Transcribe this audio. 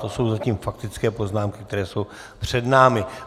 To jsou zatím faktické poznámky, které jsou před námi.